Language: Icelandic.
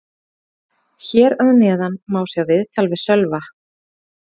Hér að neðan má sjá viðtal við Sölva.